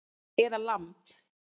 Eða lamb